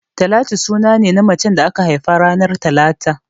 Talatu suna ne na macen da aka haifa ranar talata